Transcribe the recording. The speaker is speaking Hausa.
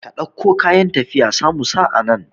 Ka ɗauko kayan tafiyan sa mu sa anan